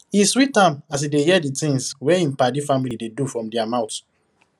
e sweet am as he dey hear the things wey him padi family dey do from their mouth